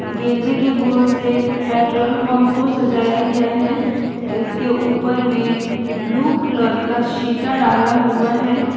गेंदे के फूल से पेट्रोल पंप को सजाया गया है इसके ऊपर में ब्लू कलर का सीटा डाला हुआ है।